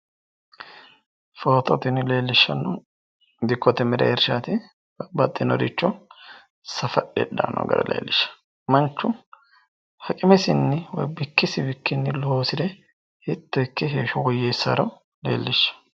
footo tini leellishshannohu dikkote mereershaati babaxinoricho safadhe hidhanno gara leellishshanno manchu haqimesinni woyi bikkisinnji loosire hiitto ikke heeshsho woyyeessaaro leellishshanno.